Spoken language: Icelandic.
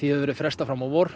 hefur verið frestað fram á vor